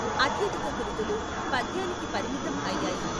అత్యధిక కృతులు, పద్యానికి పరిమితం అయ్యాయి.